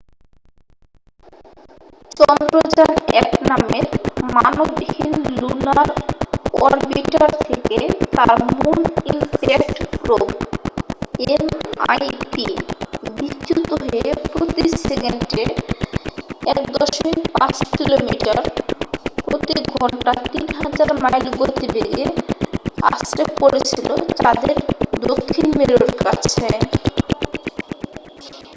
চন্দ্রযান -1 নামের মানবহীন lunar orbiter থেকে তার মুন ইমপ্যাক্ট প্রোবএমআইপি বিচ্যুত হয়ে প্রতি সেকেন্ডে 1.5 কিলোমিটার প্রতি ঘন্টা 3000 মাইল গতিবেগে আছড়ে পড়েছিল চাঁদের দক্ষিণ মেরুর কাছে।